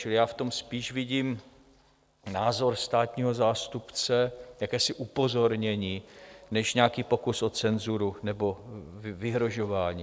Čili já v tom spíš vidím názor státního zástupce, jakési upozornění, než nějaký pokus o cenzuru nebo vyhrožování.